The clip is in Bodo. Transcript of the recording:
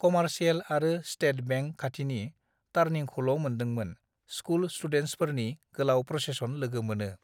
कमारसियेल आरो स्टेट बेंक खाथिनि टार्निंखौलमोनदोंमोन स्कुल स्टुडेन्टसफोरनि गोलाउ प्रसेसन लोगो मोनो